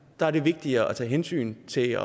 der er det vigtigere at tage hensyn til at